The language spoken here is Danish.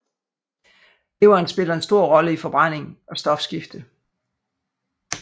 Leveren spiller en stor rolle i forbrænding og stofskifte